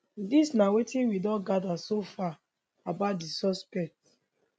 dis na wetin we don gather so far about di suspect